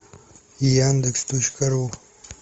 яндекс точка ру